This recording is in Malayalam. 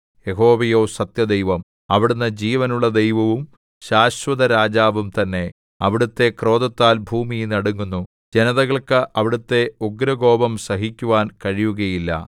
യഹോവയോ സത്യദൈവം അവിടുന്ന് ജീവനുള്ള ദൈവവും ശാശ്വതരാജാവും തന്നെ അവിടുത്തെ ക്രോധത്താൽ ഭൂമി നടുങ്ങുന്നു ജനതകൾക്ക് അവിടുത്തെ ഉഗ്രകോപം സഹിക്കുവാൻ കഴിയുകയുമില്ല